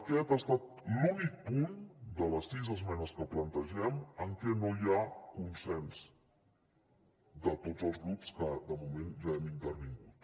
aquest ha estat l’únic punt de les sis esmenes que plantegem en què no hi ha consens de tots els grups que de moment ja hem intervingut